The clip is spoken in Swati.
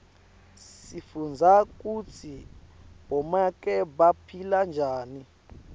sifundza kutsi bomake baphila njani